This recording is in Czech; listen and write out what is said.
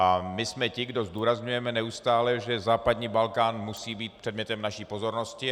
A my jsme ti, kdo zdůrazňujeme neustále, že západní Balkán musí být předmětem naší pozornosti.